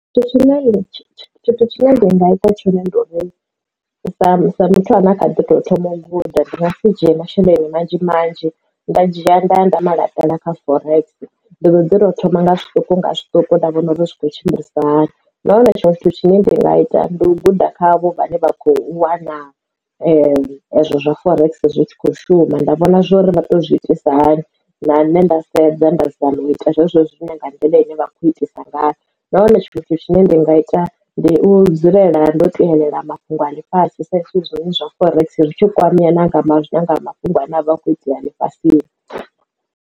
Tshithu tshone ndi nga ita tshone ndi uri sa muthu ane a kha ḓi tou thoma u guda ndi nga si dzhie masheleni manzhi manzhi nda dzhia nda ya nda ma laṱela kha forex ndi dodi to u thoma nga zwiṱuku nga zwiṱuku nda vhona uri zwi khou tshimbilisa hani na hone tshiṅwe tshithu tshine ndi nga ita ndi u guda kha avho vhane vha kho wana zwa forex zwi tshi kho shuma nda vhona zwori vha to zwi itisa hani na nṋe nda sedza nda zama u ita zwezwo zwine nga ndi nḓila ine vha khou itisa ngayo no wana tshithu tshine ndi nga ita ndi u dzulela ndo tevhelela mafhungo a ḽi fhasi sax zwiṅwe zwa forex ri tsho kwameya nanga a mafhungo ane avha a kho itea lifhasini.